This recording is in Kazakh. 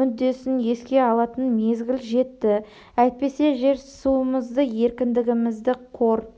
мүддесін еске алатын мезгіл жетті әйтпесе жер-суымызды еркіндігімізді қор